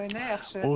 Ay nə yaxşı!